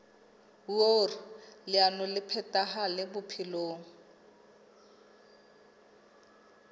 hoer leano le phethahale bophelong